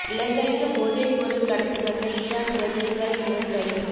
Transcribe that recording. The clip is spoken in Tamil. இலங்கைக்கு போதைப் பொருள் கடத்தி வந்த ஈரான் பிரஜைகள் இருவர் கைது